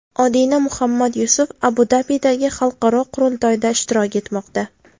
Odina Muhammad Yusuf Abu-Dabidagi xalqaro qurultoyda ishtirok etmoqda.